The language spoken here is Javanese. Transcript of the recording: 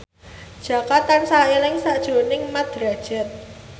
Jaka tansah eling sakjroning Mat Drajat